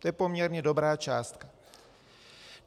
To je poměrně dobrá částka.